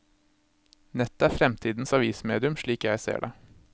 Nettet er fremtidens avismedium slik jeg ser det.